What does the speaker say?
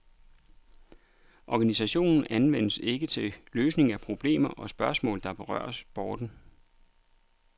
Organisationen anvendes ikke til løsning af problemer og spørgsmål der berører sporten.